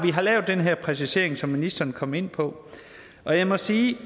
lavet den her præcisering som ministeren kom ind på og jeg må sige